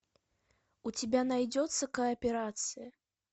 у тебя найдется кооперация